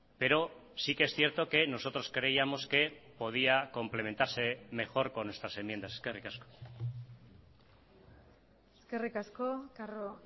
pero sí que es cierto que nosotros creíamos que podía complementarse mejor con estas enmiendas eskerrik asko eskerrik asko carro